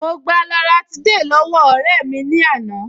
Mo gba loratiday lọ́wọ́ ọ̀rẹ́ mi lánàá